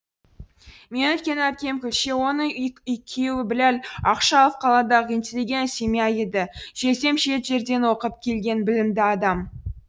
менің үлкен әпкем күлше оның күйеуі біләл ақшалов қаладағы интеллигент семья еді жездем шет жерден оқып келген білімді адам